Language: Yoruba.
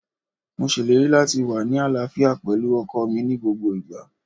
Mo ṣèlérí láti wá ní àlàáfíà pẹ̀lú ọkọọ̀ mi ní gbogbo ìgbà.